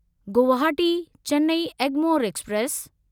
Guwahati Chennai Egmore express